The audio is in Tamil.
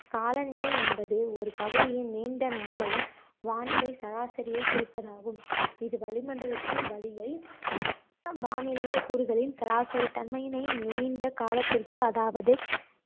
காலநிலை என்பது ஒரு பகுதியின் நீண்ட நாளைய வானிலை சராசரியை குறிப்பதாகும் இது வளிமண்டலத்தின் வளியை வானிலையைக் கூறுகளின் சராசரி தன்மையினை நீண்ட காலத்திற்கு அதாவது